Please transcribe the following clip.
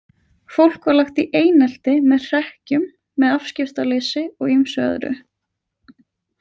Fólk var lagt í einelti með hrekkjum, með afskiptaleysi og ýmsu öðru.